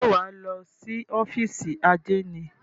Ṣé wà á lọ sí ófìsì àdénì?